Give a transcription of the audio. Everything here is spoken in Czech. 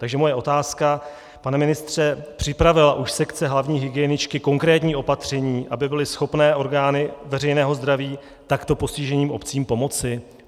Takže moje otázka: Pane ministře, připravila už sekce hlavní hygieničky konkrétní opatření, aby byly schopny orgány veřejného zdraví takto postiženým obcím pomoci?